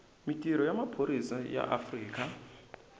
mintirho ya maphorisa ya afrika